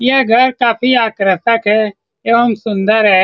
यह घर काफी आकर्षक है एवं सुन्दर है।